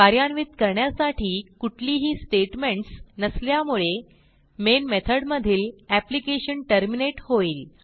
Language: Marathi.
कार्यान्वित करण्यासाठी कुठलीही स्टेटमेंटस नसल्यामुळे मेन मेथड मधील एप्लिकेशन टर्मिनेट होईल